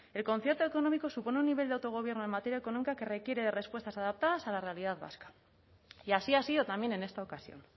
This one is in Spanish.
el concierto económico supone un nivel de autogobierno en materia económica que requiere de respuestas adaptadas a la realidad vasca y así ha sido también en esta ocasión